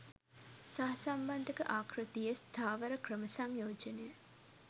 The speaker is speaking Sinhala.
සහසම්බන්ධක ආකෘතියේ ස්ථාවර ක්‍රම සංයෝජනය